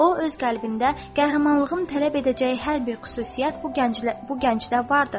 O öz qəlbində qəhrəmanlığın tələb edəcəyi hər bir xüsusiyyət bu gənclər bu gəncdə vardır.